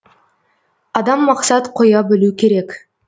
адам мақсат қоя білу керек